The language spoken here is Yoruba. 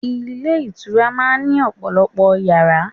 Ilé ìtura máa ń ní ọ̀pọ̀lọpọ̀ Ìyàrá.